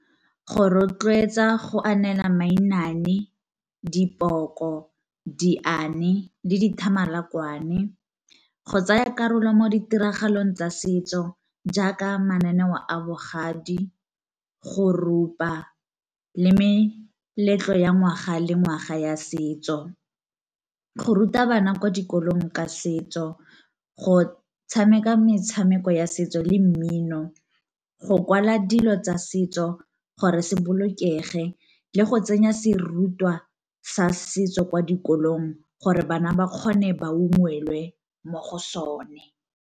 Go rotloetsa go anela mainane, dipoko, diane le dithamalakwane. Go tsaya karolo mo ditiragalong tsa setso jaaka mananeo a bogadi, go rupa, le meletlo ya ngwaga le ngwaga ya setso. Go ruta bana kwa dikolong ka setso, go tshameka metshameko ya setso le mmino, go kwala dilo tsa setso gore se bolokege, le go tsenya serutwa sa setso kwa dikolong gore bana ba kgone ba ungwelwe mo go sone.